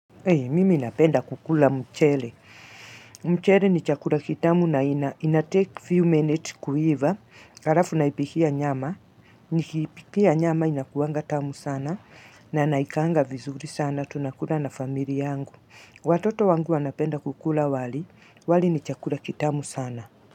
Hey, mimi napenda kukula mchele. Mchele ni chakula kitamu na inatake few minute kuiva. Harafu naipikia nyama. Nikiipikia nyama inakuwanga tamu sana na naikaanga vizuri sana. Tunakula na family yangu. Watoto wangu wanapenda kukula wali. Wali ni chakula kitamu sana.